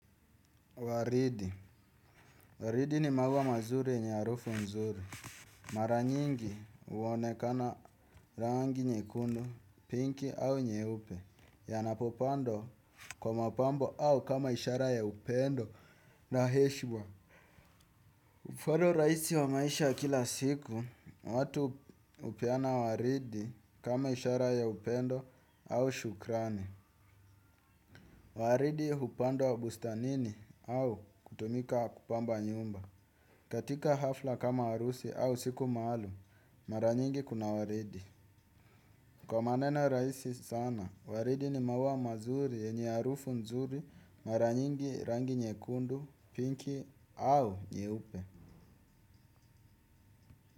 Waridi. Waridi ni maua mazuri yenye harufu nzuri. Mara nyingi huonekana rangi nyekundu, pinki au nyeupe. Yanapopandwa kwa mapambo au kama ishara ya upendo na heshima. Mfano rahisi wa maisha ya kila siku, watu hupeana waridi kama ishara ya upendo au shukrani. Waridi hupandwa bustanini au kutumika kupamba nyumba. Katika hafla kama harusi au siku maalum, mara nyingi kuna waridi. Kwa maneno rahisi sana, waridi ni maua mazuri yenye harufu nzuri, mara nyingi rangi nyekundu, pinki au nyeupe.